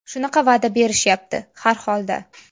Shunaqa va’da berishyapti, har holda.